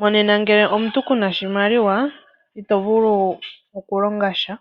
Monena ngele omuntu kuna oshimaliwa, itovulu oku longasha.